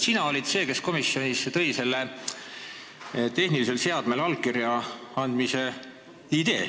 Sina olid see, kes komisjoni tõi selle tehnilisel seadmel allkirja andmise idee.